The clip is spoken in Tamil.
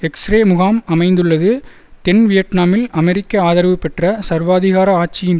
எக்ஸ்ரே முகாம் அமைந்துள்ளது தென் வியட்நாமில் அமெரிக்க ஆதரவுபெற்ற சர்வாதிகார ஆட்சியின்